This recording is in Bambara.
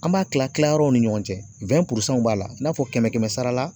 An b'a tila tilayɔrɔw ni ɲɔgɔn cɛ. w b'a la i n'a fɔ kɛmɛ-kɛmɛ sara la